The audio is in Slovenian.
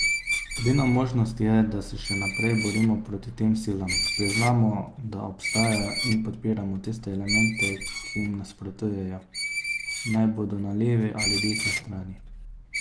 Edina možnost je, da se še naprej borimo proti tem silam, priznamo, da obstajajo in podpiramo tiste elemente, ki jim nasprotujejo, naj bodo na levi ali desni strani.